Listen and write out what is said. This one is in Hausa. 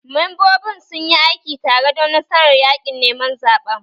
Membobin sun yi aiki tare don nasarar yaƙin neman zaɓen